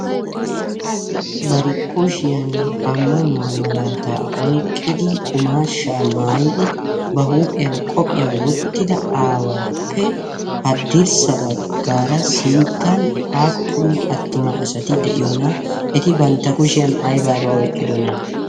barikkushiyan ammanuwaa malaataa oiqqidi qumaashsha maayidi ba huuphiyan qophiyaa wottida aawaappe haddirssa baggaara sinttan aappun attuma asati de7iyoona eti bantta kushiyan aibaiba oiqqidona?